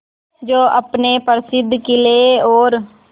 जो अपने प्रसिद्ध किले और